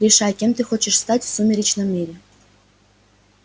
решай кем ты хочешь стать в сумеречном мире